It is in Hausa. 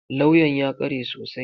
Kawyan ya kware sosai.